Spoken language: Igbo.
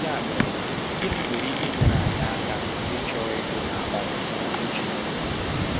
Ya mere, gịnị nwere ike inyere anyị aka ịchọ ịgụ na ọmụmụ Okwu Chineke?